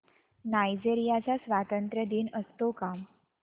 Nigeria चा स्वातंत्र्य दिन असतो का